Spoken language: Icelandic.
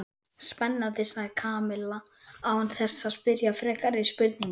Spennandi sagði Kamilla án þess að spyrja frekari spurninga.